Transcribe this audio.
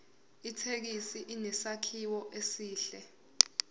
ithekisi inesakhiwo esihle